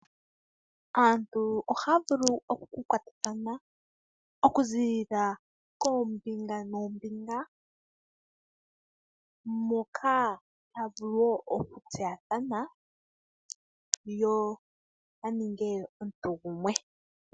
Aantu ohaya vulu oku kwatathana, oku zilila koombinga noombinga. Moka haya vulu wo oku tseyathana yo ya ninge omuntu gumwe.